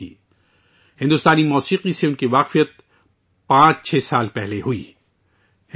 اسے بھارتی موسیقی سے صرف 56 سال پہلے متعارف کرایا گیا تھا